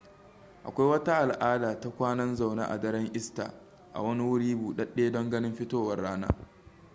akwai wata al'ada ta kwanan zaune a daren easter a wani wuri buɗaɗɗe don ganin fitowar rana